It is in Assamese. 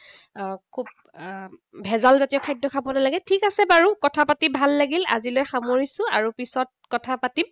ভেজালজাতীয় খাদ্য খাব নালাগে। ঠিক আছে বাৰু। কথা পাতি ভাল লাগিল। আজিলৈ সমৰিছো। আৰু পিছত কথা পাতিম।